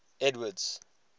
edward's